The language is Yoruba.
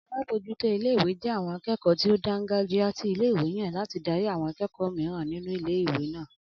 Alábójútó ilé-ìwé jé àwon akékòó tí ó dángàjíá tí ilé-ìwé yàn láti darí àwon akékòó mìíràn nínú ilé-ìwé náà